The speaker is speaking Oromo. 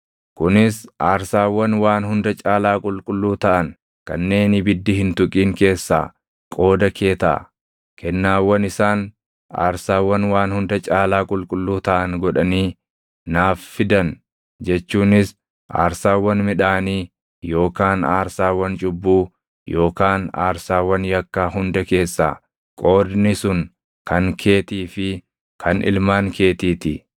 Kunis aarsaawwan waan hunda caalaa qulqulluu taʼan kanneen ibiddi hin tuqin keessaa qooda kee taʼa. Kennaawwan isaan aarsaawwan waan hunda caalaa qulqulluu taʼan godhanii naaf fidan jechuunis aarsaawwan midhaanii yookaan aarsaawwan cubbuu yookaan aarsaawwan yakkaa hunda keessaa qoodni sun kan keetii fi kan ilmaan keetii ti.